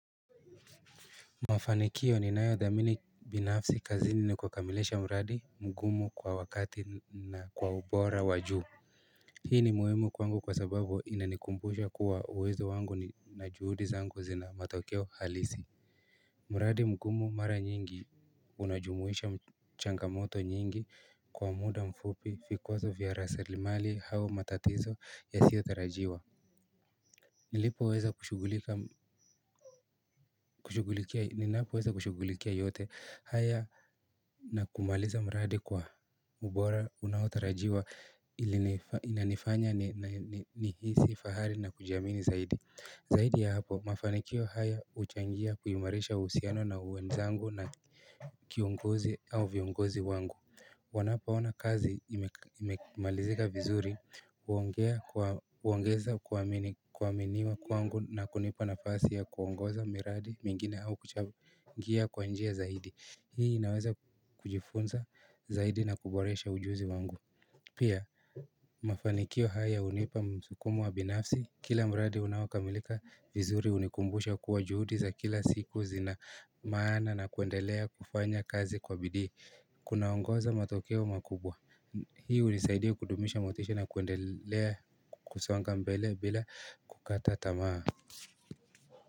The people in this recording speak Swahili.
Mafanikio ni nayo dhamini binafsi kazini ni kukamilisha mradi mgumu kwa wakati na kwa ubora wa juu Hii ni muhimu kwangu kwa sababu inanikumbusha kuwa uwezo wangu na juhudi zangu zina matokeo halisi mradi mgumu mara nyingi unajumuisha mchangamoto nyingi kwa muda mfupi fikwazo vya rasilimali au matatizo ya sio tarajiwa Ninapo weza kushugulikia yote haya na kumaliza mradi kwa ubora unaotarajiwa ili inanifanya ni hisi fahari na kujiamini zaidi Zaidi ya hapo mafanikio haya huchangia kuimarisha uhusiano na wenzangu na kiongozi au viongozi wangu wanapoona kazi ime malizika vizuri huongea kwa kuongeza kuaminiwa kwangu na kunipa nafasi ya kuongoza miradi mingine au kuchangia kwa njia zaidi Hii inaweza kujifunza zaidi na kuboresha ujuzi wangu Pia mafanikio haya hunipa msukumo wa binafsi, kila miradi unaokamilika vizuri unikumbusha kuwa juhudi za kila siku zina maana na kuendelea kufanya kazi kwa bidii. Kunaongoza matokeo makubwa hii hunisaidia kudumisha motisha na kuendelea kusonga mbele bila kukata tamaa.